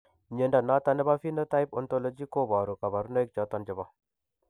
Mnyondo noton nebo Phenotype Ontology koboru kabarunaik choton chebo